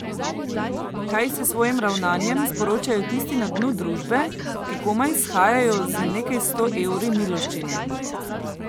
Kaj s svojim ravnanjem sporočajo tistim na dnu družbe, ki komaj shajajo z nekaj sto evri miloščine?